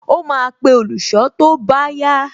Ó máa pe olùṣọ́ tó bá yá